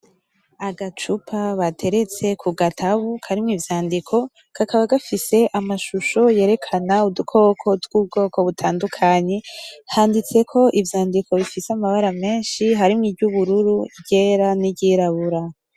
Agacupa bateretse ku gatabu karimwo ivyandiko kakaba gafise amashusho yerekana udukoko twubwoko butandukanye handitseko ivyandiko bifise amabara menshi harimwo iryubururu iryera niryirabura .